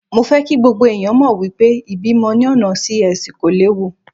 Mo fẹ́ kí gbogbo ẹ̀yàn mọ̀ wípé ìbímọ ní ọ̀nà Sí-Ẹsì kò léwu.